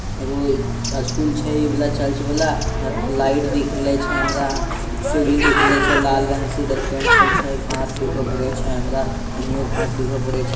एक जो स्कूल छे ई वाला चर्च वाला यहाँ पे एगो लाइट देखले छे हमरा सीढ़ी दिखले छे लाल रंग इधर पेंट होइल छे घास दिखो छे हमरा एनो भी घास --